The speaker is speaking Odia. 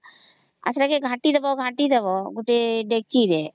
ସେଟାକେ ଘଂଟିଦେବା ଘଂଟିଦେବା ଗୋଟେ ଡେ଼କଚି ରେ